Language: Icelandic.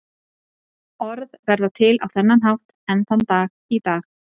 orð verða til á þennan hátt enn þann dag í dag